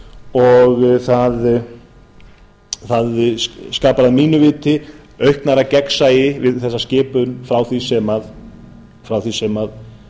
og það skapar að mínu viti auknara gegnsæi við þessa skipun frá því sem